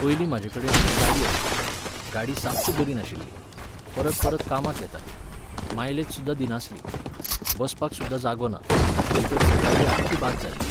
पयलीं म्हाजे कडेन एक गाडी आशिल्ली. गाडी साप्प बरी नाशिल्ली. परत परत कामाक येताली. मायलेज सुद्दांदिनासली. बसपाक सुद्दां जागो ना, भितर सिटां बी आख्खीं बाद जाल्लीं.